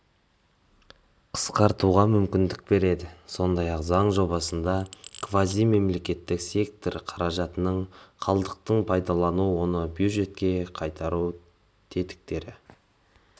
қысқартуға мүмкіндік береді сондай-ақ заң жобасында квазимемлекеттік сектор қаражатының қалдықтарын пайдалану оны бюджетке қайтару тетіктері